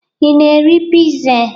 Ị na-eri piza?